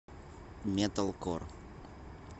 металкор